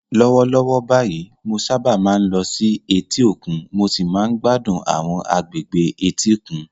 Lọ́wọ́lọ́wọ́ báyìí, mo sábà máa ń lọ sí etí òkun mo sì máa ń gbádùn àwọn agbègbè etíkun.